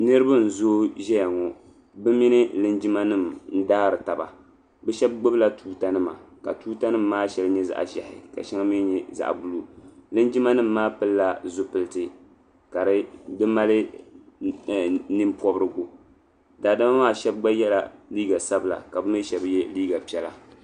Niriba n zooi zɛya ŋɔ bi mini linjima nima n daari taba bi shɛba gbubi la tuuta nima ma tuuta nima maa shɛli nyɛ zaɣi zɛhi ma shɛŋa mi nyɛ zaɣi buluu linjima nima maa pilila zupiliti ka di mali nini pɔbirigu daadama maa gba shɛba yiɛla liiga sabila ka bi shɛba yiɛ liiga piɛlla.